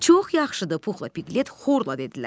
Çox yaxşıdır, Puxla Piqlet xorla dedilər.